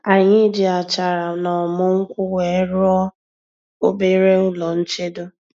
Anyị ji achara na ọmu nkwu wee rụọ obere ụlọ nchedo